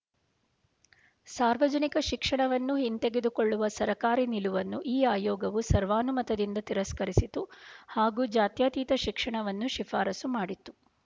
ಸಾರ್ವಜನಿಕ ಶಿಕ್ಷಣವನ್ನು ಹಿಂತೆಗೆದುಕೊಳ್ಳುವ ಸರಕಾರಿ ನಿಲುವನ್ನು ಈ ಆಯೋಗವು ಸರ್ವಾನುಮತದಿಂದ ತಿರಸ್ಕರಿಸಿತು ಹಾಗೂ ಜಾತ್ಯತೀತ ಶಿಕ್ಷಣವನ್ನೂ ಶಿಫಾರಸ್ಸು ಮಾಡಿತು